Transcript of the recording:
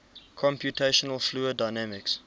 computational fluid dynamics